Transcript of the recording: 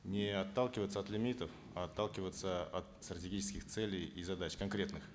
не отталкиваться от лимитов а отталкиваться от стратегических целей и задач конкретных